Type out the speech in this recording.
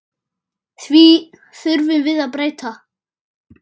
Því þurfum við að breyta.